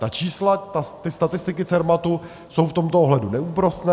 Ta čísla, ty statistiky Cermatu jsou v tomto ohledu neúprosné.